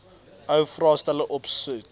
ou vraestelle opsoek